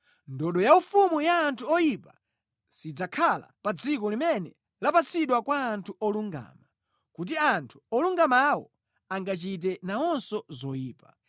Ndodo yaufumu ya anthu oyipa sidzakhala pa dziko limene lapatsidwa kwa anthu olungama, kuti anthu olungamawo angachite nawonso zoyipa.